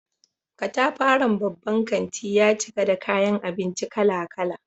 Katafaren babban kanti ya cika da kayan abinci kala-kala.